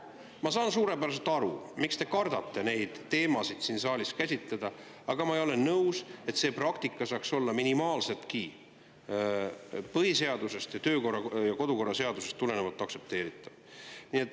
Ma saan suurepäraselt aru, miks te kardate neid teemasid siin saalis käsitleda, aga ma ei ole nõus, et see praktika saaks olla minimaalseltki põhiseadusest ning kodu‑ ja töökorraseadusest tulenevalt aktsepteeritav.